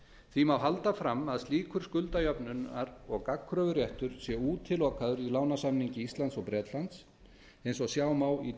því má halda fram að slíkur skuldajafnaðar og gagnkröfuréttur sé útilokaður í lánasamningi íslands og bretlands eins og sjá má í